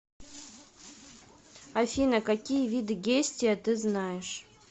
афина какие виды гестия ты знаешь